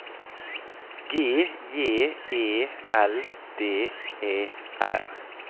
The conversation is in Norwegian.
G J E L D E R